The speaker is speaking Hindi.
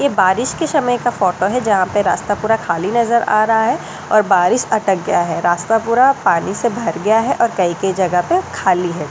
ये बारिस की समय का कथा हैं जहाँ पे रास्ता पूरा ख़ाली नज़र आ रहा हैं और बारिस अटक गया हैं रास्ता पूरा पानी से भर गया है और कहीं कहीं जगह पे ख़ाली हैं और दुसरी --